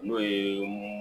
N'o ye